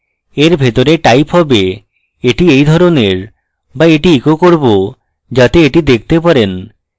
এর ভিতরে type have এটি এই ধরনের বা এটি echo করব যাতে এটি দেখতে পারেন